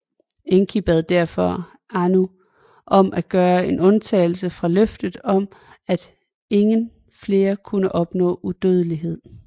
Enki bad derfor Anu om at gøre en undtagelse fra løftet om at ingen flere kunne opnå udødelighed